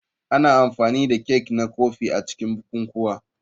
Ana amfani da kek na kofi a cikin bukukuwa.